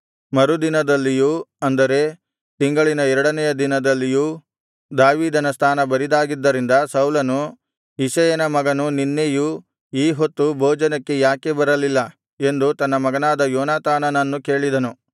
ಮರುದಿನದಲ್ಲಿಯೂ ಅಂದರೆ ತಿಂಗಳಿನ ಎರಡನೆಯ ದಿನದಲ್ಲಿಯೂ ದಾವೀದನ ಸ್ಥಾನ ಬರಿದಾಗಿದ್ದರಿಂದ ಸೌಲನು ಇಷಯನ ಮಗನು ನಿನ್ನೆಯೂ ಈ ಹೊತ್ತೂ ಭೋಜನಕ್ಕೆ ಯಾಕೆ ಬರಲಿಲ್ಲ ಎಂದು ತನ್ನ ಮಗನಾದ ಯೋನಾತಾನನನ್ನು ಕೇಳಿದನು